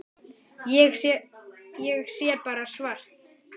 Ég sé bara svart.